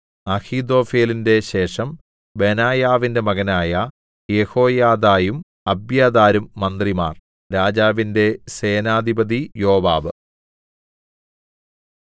അഹീഥോഫെലിന്റെ ശേഷം ബെനായാവിന്റെ മകനായ യെഹോയാദയും അബ്യാഥാരും മന്ത്രിമാർ രാജാവിന്റെ സേനാധിപതി യോവാബ്